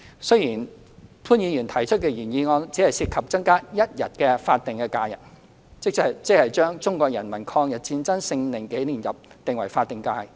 雖然潘議員提出的原議案只涉及增加一天法定假日，即將中國人民抗日戰爭勝利紀念日訂為法定假日。